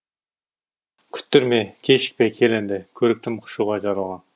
күттірме кешікпе кел енді көріктім құшуға жаралған